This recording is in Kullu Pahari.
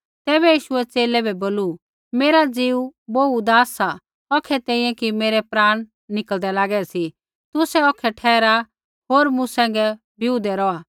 तैबै यीशुऐ च़ेले बै बोलू मेरा ज़ीऊ बोहू उदास सा औखै तैंईंयैं कि मेरै प्राण निकल़दै लागै सी तुसै औखै ठहरा होर मूँ सैंघै बिऊदै रौहा